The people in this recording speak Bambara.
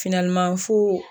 Finaliman fo